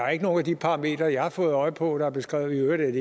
er nogen af de parametre jeg har fået øje på der er beskrevet i øvrigt